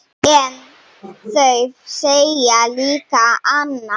En þau segja líka annað.